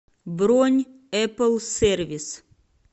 бронь эплсервис